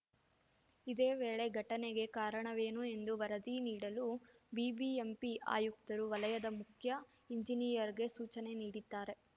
ಇದೇ ವೇಳೆ ಘಟನೆಗೆ ಕಾರಣವೇನು ಎಂದು ವರದಿ ನೀಡಲು ಬಿಬಿಎಂಪಿ ಆಯುಕ್ತರು ವಲಯದ ಮುಖ್ಯ ಎಂಜಿನಿಯರ್‌ಗೆ ಸೂಚನೆ ನೀಡಿದ್ದಾರೆ